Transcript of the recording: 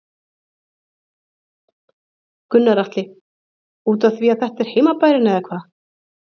Gunnar Atli: Útaf því að þetta er heimabærinn eða hvað?